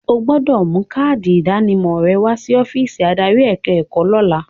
O gbọdọ̀ mú káádì ìdánimọ̀ rẹ wa sí ọ́físì adarí ẹ̀ka ẹ̀kọ́ lọ́la.